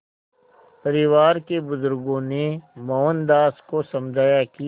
परिवार के बुज़ुर्गों ने मोहनदास को समझाया कि